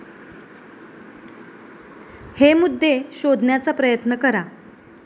हे मुद्दे शोधण्याचा प्रयत्न करा